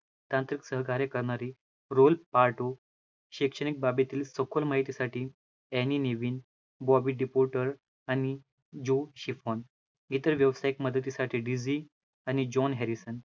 तांत्रिक सहकार्य करणारी रोल पार्टटो, शैक्षणिक बाबीतील सखोल माहितीसाठी एनी नीवी, बॉबी डिपोर्टर आणि जॉह शिफॉन, इतर व्यावसायिक मदतीसाठी डिसी आणि जॉन हॅरीसन